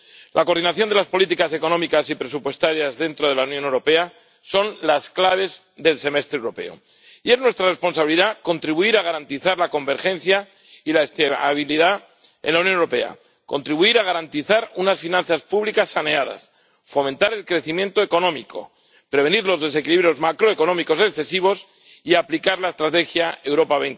La coordinación de las políticas económicas y presupuestarias dentro de la Unión Europea es la clave del Semestre Europeo y es nuestra responsabilidad contribuir a garantizar la convergencia y la estabilidad en la Unión Europea, contribuir a garantizar unas finanzas públicas saneadas, fomentar el crecimiento económico, prevenir los desequilibrios macroeconómicos excesivos y aplicar la estrategia Europa